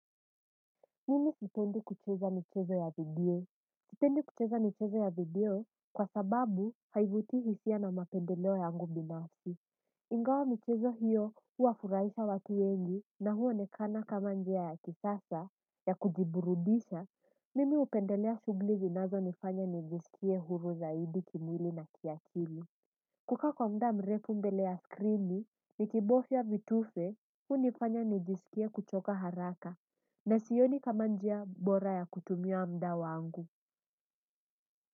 Mimi sipendi kucheza michezo ya video sipendi kucheza michezo ya video kwa sababu haivuti hisia na mapendeleo yangu binafsi. Ingawa michezo hiyo huwafurahisha watu wengi na huonekana kama njia ya kisasa ya kujiburudisha. Mimi hupendelea shughuli zinazonifanya nijisikie huru zaidi kimwili na kiakili. Kuka kwa muda mrepu mbele ya skrini nikibofya vitufe hunifanya nijiskie kuchoka haraka na sioni kama njia bora ya kutumia muda wangu.